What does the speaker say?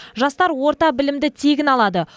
жастар орта білімді тегін алады